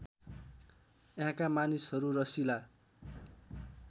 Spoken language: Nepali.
यहाँका मानिसहरू रसिला